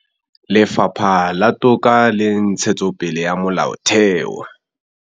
Lefapha la Toka le Ntshetsopele ya Molaotheo